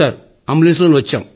ambulance లోనే వచ్చాం